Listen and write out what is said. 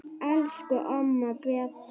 Elsku amma Beta.